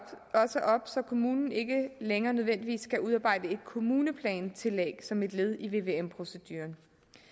så kommunen ikke længere nødvendigvis skal udarbejde et kommuneplantillæg som et led i vvm proceduren